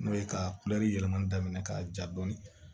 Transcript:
N'o ye ka yɛlɛman daminɛ ka ja dɔɔni